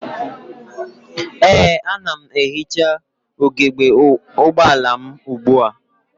Ee, ana m ehicha ugebe ụgbọala m ugbua.